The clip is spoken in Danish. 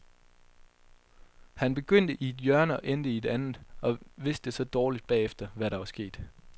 Han begyndte i et hjørne og endte i et andet og vidste så dårligt bagefter, hvad der var sket.